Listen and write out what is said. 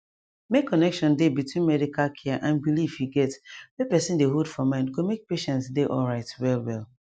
make connection dey between medical care and belief you get wey person dey hold for mind go make patient dey alright well well